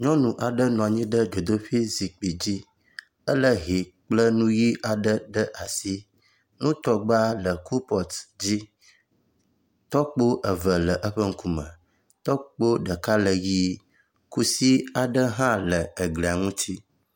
Nyɔnu aɖe nɔ anyi ɖe dzodoƒi zikpui dzi ele hɛ kple nu ʋi aɖe ɖe asi. Nutɔgba le kopɔt dzi. Tɔkpo eve le eƒe ŋkume. Tɔkpo ɖeka le eƒe ŋkume. Tɔkpo ɖeka le ʋi kusi aɖe hã le eglia ŋuti.